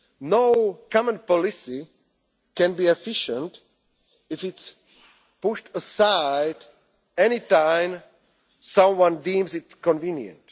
honestly. No common policy can be efficient if it is pushed aside any time someone deems